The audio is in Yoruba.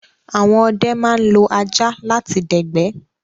Àwọn ọdẹ ma ń lo ajá láti dẹ̀gbẹ́